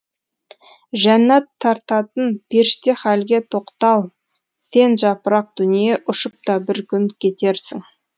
жәннәт тартатын періште халге тоқтал сен жапырақ дүние ұшып та бір күн кетерсің